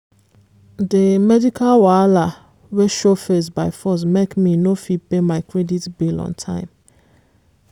the medical wahala wey show face by force make me no fit pay my credit bill on time.